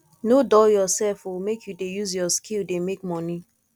nor dull yoursef o make you dey use your skill dey make moni